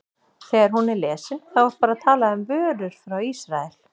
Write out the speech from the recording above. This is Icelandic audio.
Þegar hún er lesin, þá er bara talað um vörur frá Ísrael?